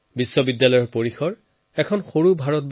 বিশ্ববিদ্যালয়ৰ চৌহদো একপ্ৰকাৰৰ মিনি ইণ্ডিয়া